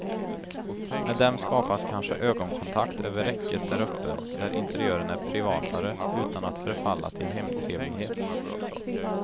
Med dem skapas kanske ögonkontakt över räcket där uppe där interiören är privatare, utan att förfalla till hemtrevlighet.